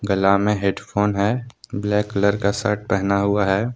गला में हेडफोन है ब्लैक कलर का शर्ट पहना हुआ है।